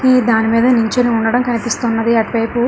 ఈ దాని మీద నిల్చొని ఉండడం కనిపిస్తున్నది. అటువైపు --